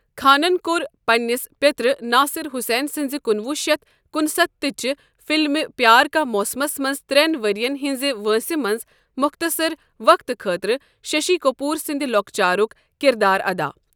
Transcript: خانن كوٚر پنٛنِس پیٚترٕ ناصِر حسین سٕنٛزِ کنوہ شیتھ کنستتھ تٕچہِ فِلمہِ پیٛار کا موسمس منٛز ترٛن ؤرین ہنزِ وٲنٛسہِ منٛز مۄختصر وقتہٕ خٲطرٕ شَشی کٔپوٗر سٕنٛد لۄکچارک کِردار ادا۔